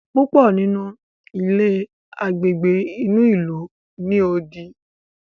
púpọ nínú ilé Àgbègbè inú ilu ní odì.